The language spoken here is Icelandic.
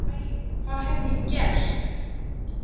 Æ, hvað hef ég gert?